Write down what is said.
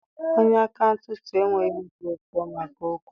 Onye akaụntantị enweghị obi ụtọ maka okwu a